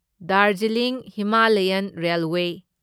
Darjeeling Himalayan railway